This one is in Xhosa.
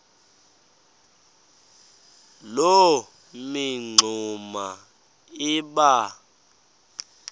loo mingxuma iba